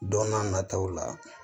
Don n'a nataw la